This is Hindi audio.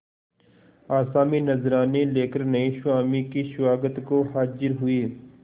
आसामी नजराने लेकर नये स्वामी के स्वागत को हाजिर हुए